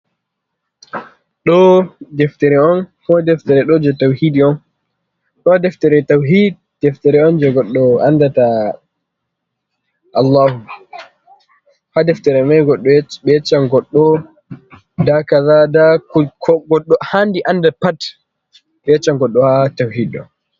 Ɗo ɗeftere on. Ɗo deftere ɗo je tauhiɗi on. Ɗo ɗeftere tauhiɗ ɗeftere on je goɗɗo anɗaɗa Allahu. Ha deftere mai be heccan goɗɗo nɗa kaza. Ko goɗɗk ha'nxi anɗa pat be heccan goɗɗo ha tauhiɗo.